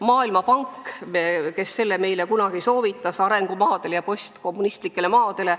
Maailmapank kunagi meile seda soovitas – arengumaadele ja postkommunistlikele maadele.